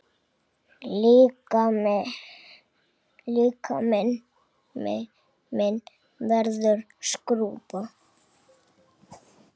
Líkami minn verður skrúfa.